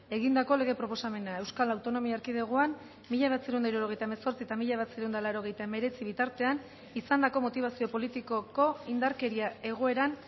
egindako lege proposamena euskal autonomia erkidegoan mila bederatziehun eta hirurogeita hemezortzi eta mila bederatziehun eta laurogeita hemeretzi bitartean izandako motibazio politikoko indarkeria egoeran